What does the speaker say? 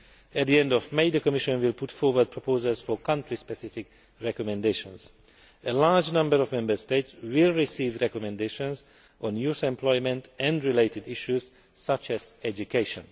At the end of May, the Commission will put forward proposals for country specific recommendations. A large number of Member States will receive recommendations on youth employment and related issues, such as education.